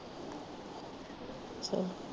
ਚਲੋ